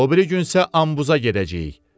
O biri gün isə Ambuza gedəcəyik.